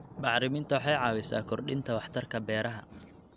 Bacriminta waxay caawisaa kordhinta waxtarka beeraha.